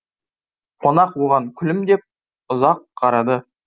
қонақ оған күлімдеп ұзақ қарады